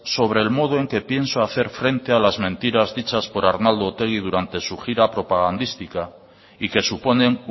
sobre el modo en que pienso hacer frente a las mentiras dichas por arnaldo otegi durante su gira propagandística y que suponen